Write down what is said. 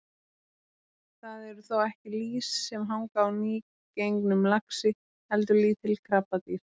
Það eru þó ekki lýs sem hanga á nýgengnum laxi heldur lítil krabbadýr.